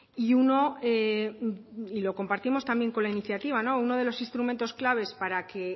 y uno y lo compartimos también con la iniciativa uno de los instrumentos claves para que